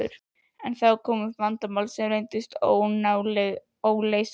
En þá kom upp vandamál sem reyndust nálega óleysanleg.